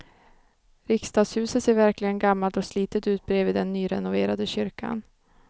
Riksdagshuset ser verkligen gammalt och slitet ut bredvid den nyrenoverade kyrkan.